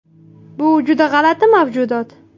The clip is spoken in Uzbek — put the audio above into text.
Bu juda g‘alati mavjudot.